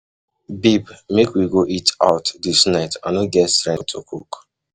Babe make we go eat out dis night, I no get strength to cook.